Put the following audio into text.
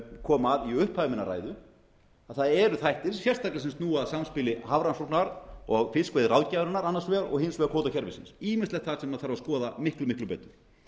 kom að í upphafi minnar ræðu það eru þættir sérstaklega sem snúa að samspili hafrannsókna og fiskveiðiráðgjafarinnar annars vegar og hins vegar kvótakerfisins ýmislegt sem þarf að skoða miklu miklu betur